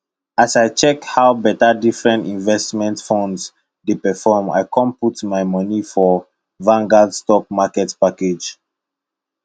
as i check how better different investment funds dey perform i com put my moni for vanguard stock market package